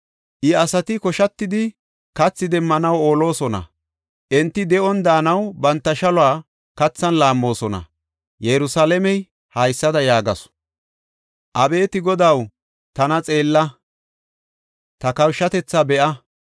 I asati koshatidi kathi demmanaw oolosona; enti de7on daanaw banta shaluwa kathan laammoosona. Yerusalaamey haysada yaagasu; Abeeti Godaw, tana xeella; ta kawushatethaa be7a!